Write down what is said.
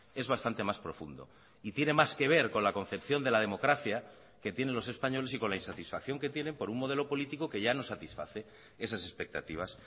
es bastante más profundo y tiene más que ver con la concepción de la democracia que tienen los españoles y con la insatisfacción que tienen por un modelo político que ya no satisface esas expectativas